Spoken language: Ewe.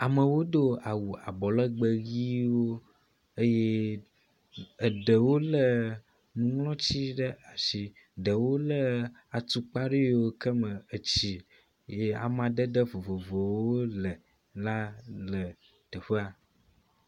Amewo do awu abɔ legbẽ ʋiwo eye eɖewo lé nuŋlɔti ɖe asi eye ɖewo lé atukpa aɖe yiwo ke me etsi yi amadede vovovowo le la le teƒea.